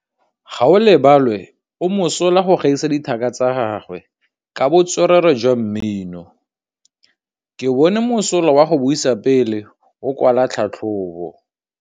Gaolebalwe o mosola go gaisa dithaka tsa gagwe ka botswerere jwa mmino. Ke bone mosola wa go buisa pele o kwala tlhatlhobô.